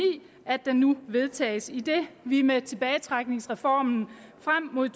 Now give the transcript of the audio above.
at den nu vedtages idet vi med tilbagetrækningsreformen frem mod